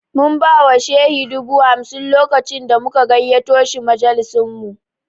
Mun ba wa Shehi dubu hamsin lokacin da muka gayyato shi majalisinmu